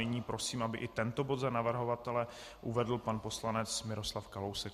Nyní prosím, aby i tento bod za navrhovatele uvedl pan poslanec Miroslav Kalousek.